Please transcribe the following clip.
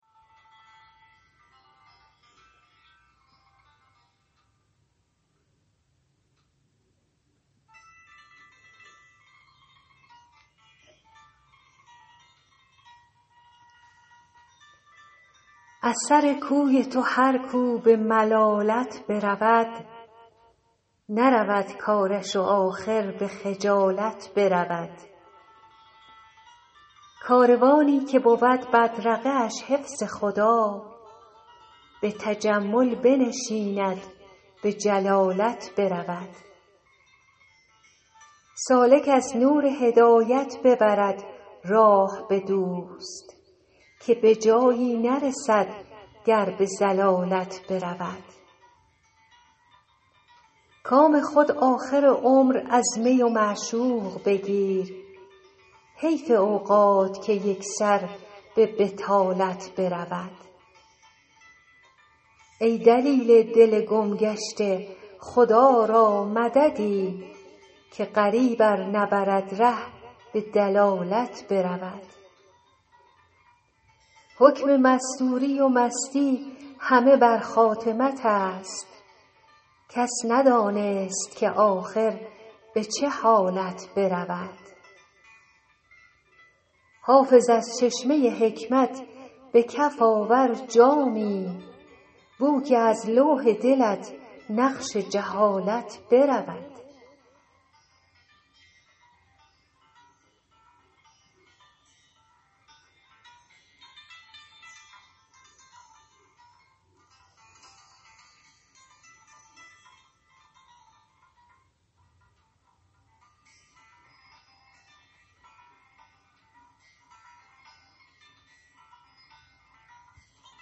از سر کوی تو هر کو به ملالت برود نرود کارش و آخر به خجالت برود کاروانی که بود بدرقه اش حفظ خدا به تجمل بنشیند به جلالت برود سالک از نور هدایت ببرد راه به دوست که به جایی نرسد گر به ضلالت برود کام خود آخر عمر از می و معشوق بگیر حیف اوقات که یک سر به بطالت برود ای دلیل دل گم گشته خدا را مددی که غریب ار نبرد ره به دلالت برود حکم مستوری و مستی همه بر خاتمت است کس ندانست که آخر به چه حالت برود حافظ از چشمه حکمت به کف آور جامی بو که از لوح دلت نقش جهالت برود